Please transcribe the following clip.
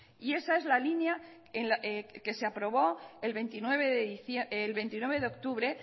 y esa es la línea que se aprobó el veintinueve de octubre